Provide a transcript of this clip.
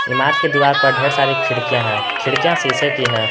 ईमारत के दीवार पर ढेर सारी खिड़कियां है खिड़कियां शीशे की हैं।